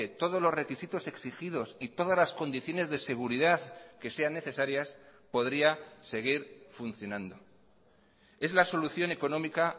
todos los requisitos exigidos y todas las condiciones de seguridad que sean necesarias podría seguir funcionando es la solución económica